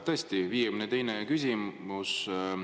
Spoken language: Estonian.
Tõesti, 52. küsimus.